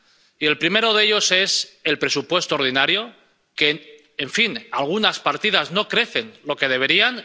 Y el primero de ellos es el presupuesto ordinario, ya que algunas partidas no crecen lo que deberían.